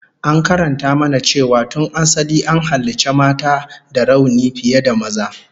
An karanta mana cewa tun asali an halicci mata da rauni fiye da maza